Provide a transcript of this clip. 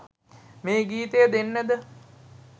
මේ ගීතය දෙන්නද